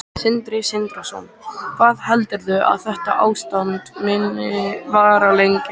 Sindri Sindrason: Hvað heldurðu að þetta ástand muni vara lengi?